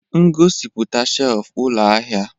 Ngosipụta shelf ụlọ ahịa.